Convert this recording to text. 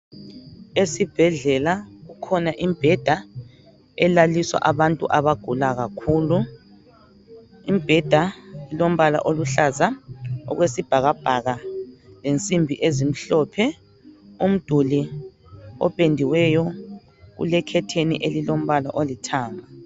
Esibhedlela kukhona imbheda elaliswa abantu abagula kakhulu. Imbheda elombala oluhlaza okwesibhakabhaka lensimbi ezimhlophe, umduli opendiweyo, kule khetheni elilombala olithanga.